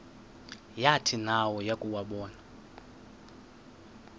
yathi nayo yakuwabona